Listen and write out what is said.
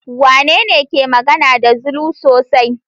Wanene ke magana da Zulu sosai?